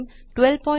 1204